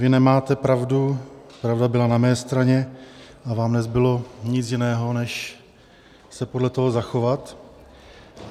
Vy nemáte pravdu, pravda byla na mé straně a vám nezbylo nic jiného, než se podle toho zachovat.